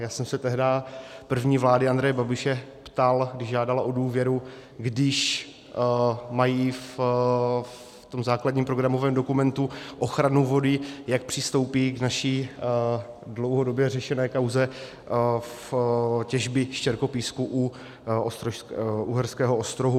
Já jsem se tehdy první vlády Andreje Babiše ptal, když žádala o důvěru, když mají v tom základním programovém dokumentu ochranu vody, jak přistoupí k naší dlouhodobě řešené kauze v těžbě štěrkopísku o Uherského Ostrohu.